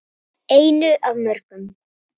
Einu af mörgum.